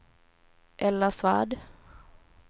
Ella Svärd